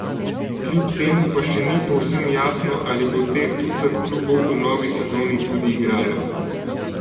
Kljub temu pa še ni povsem jasno, ali bo teh ducat klubov v novi sezoni tudi igralo.